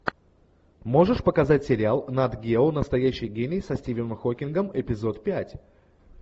можешь показать сериал нат гео настоящий гений со стивеном хокингом эпизод пять